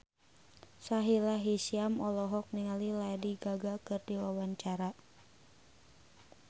Sahila Hisyam olohok ningali Lady Gaga keur diwawancara